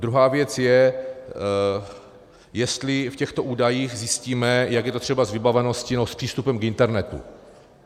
Druhá věc je, jestli v těchto údajích zjistíme, jak je to třeba s vybaveností nebo s přístupem k internetu.